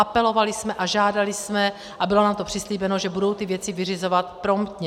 Apelovali jsme a žádali jsme, a bylo nám to přislíbeno, že budou ty věci vyřizovat promptně.